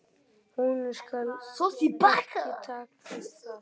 Honum skal ekki takast það!